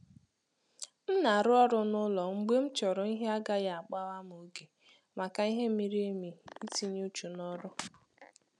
M na-arụ ọrụ n'ụlọ mgbe m chọrọ ihe agaghị akpa-gham ògè maka ìhè mịrị emi itinye uchu na ọrụ